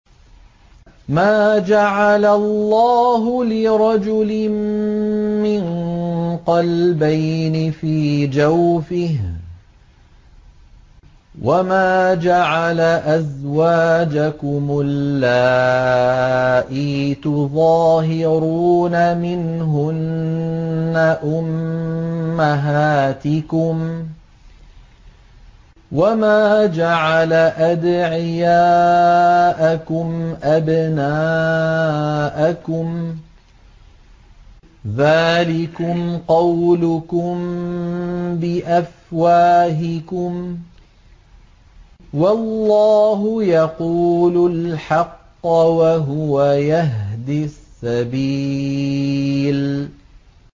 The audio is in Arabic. مَّا جَعَلَ اللَّهُ لِرَجُلٍ مِّن قَلْبَيْنِ فِي جَوْفِهِ ۚ وَمَا جَعَلَ أَزْوَاجَكُمُ اللَّائِي تُظَاهِرُونَ مِنْهُنَّ أُمَّهَاتِكُمْ ۚ وَمَا جَعَلَ أَدْعِيَاءَكُمْ أَبْنَاءَكُمْ ۚ ذَٰلِكُمْ قَوْلُكُم بِأَفْوَاهِكُمْ ۖ وَاللَّهُ يَقُولُ الْحَقَّ وَهُوَ يَهْدِي السَّبِيلَ